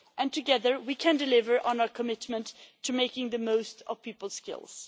Together, we can deliver on our commitment to making the most of people's skills.